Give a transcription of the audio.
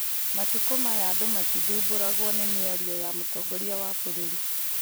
Matukũ maya andũ matithumbũragwo nĩ mĩario ya mũtongoria wa bũrũri